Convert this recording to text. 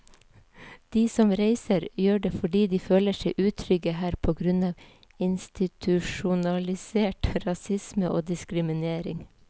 De som reiser, gjør det fordi de føler seg utrygge her på grunn av institusjonalisert rasisme og diskriminering.